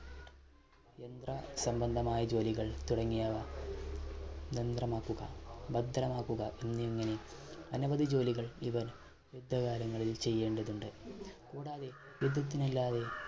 യന്ത്ര സംബന്ധമായ ജോലികൾ തുടങ്ങിയവ ഭദ്രമാക്കുക എന്നിങ്ങനെ അനവധി ജോലികൾ ഇവർ യുദ്ധകാലങ്ങളിൽ ചെയ്യേണ്ടതുണ്ട്. കൂടാതെ യുദ്ധത്തിന് അല്ലാതെ